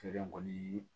Feere kɔni